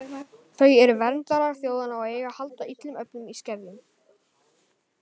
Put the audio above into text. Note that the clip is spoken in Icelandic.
Þau eru verndarar þjóðanna og eiga að halda illum öflum í skefjum.